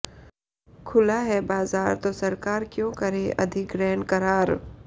खुला है बाजार तो सरकार क्यों करे अधिग्रहण करार